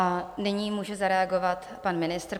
A nyní může zareagovat pan ministr.